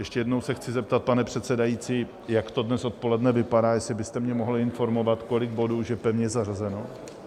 Ještě jednou se chci zeptat, pane předsedající, jak to dnes odpoledne vypadá, jestli byste mě mohl informovat, kolik bodů už je pevně zařazeno.